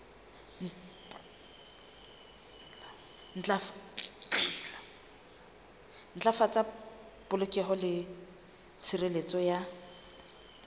ntlafatsa polokeho le tshireletso ya